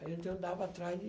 A gente andava atrás de...